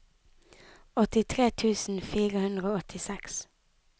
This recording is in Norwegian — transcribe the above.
åttitre tusen fire hundre og åttiseks